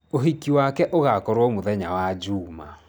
Ũhiki wake ũgaakorũo mũthenya wa njuuma.